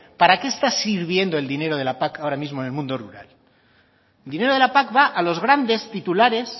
para qué está sirviendo el dinero de la pac ahora mismo en el mundo rural el dinero de la pac va a los grandes titulares